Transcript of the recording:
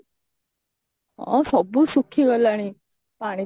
ଅ ସବୁ ଶୁଖି ଗଲାଣି ପାଣି